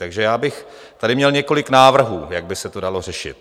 Takže já bych tady měl několik návrhů, jak by se to dalo řešit.